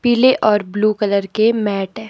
पीले और blue colour के मैट है।